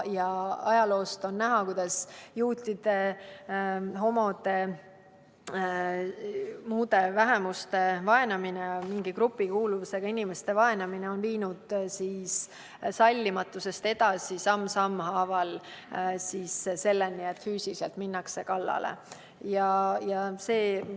Ajaloost on näha, kuidas juutide, homode ja muude vähemuste vaenamine, mingi grupikuuluvusega inimeste vaenamine on viinud sallimatusest samm sammu haaval edasi selleni, et vaenatavatele minnakse füüsiliselt kallale.